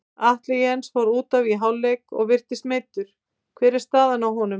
Atli Jens fór útaf í hálfleik og virtist meiddur, hver er staðan á honum?